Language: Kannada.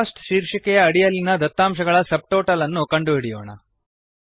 ಕೋಸ್ಟ್ ಶೀರ್ಷಿಕೆಯ ಅಡಿಯಲ್ಲಿನ ದತ್ತಾಂಶಗಳ ಸಬ್ ಟೋಟಲ್ ಅನ್ನು ಕಂಡುಹಿಡಿಯೋಣ